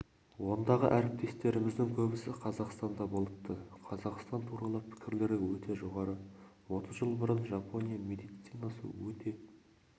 ондағы әріптестеріміздің көбісі қазақстанда болыпты қазақстан туралы пікірлері өте жоғары отыз жыл бұрын жапония медицинасы өте